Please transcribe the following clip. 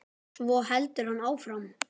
Svo heldur hann áfram